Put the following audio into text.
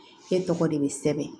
Ne tɔgɔ de be sɛbɛn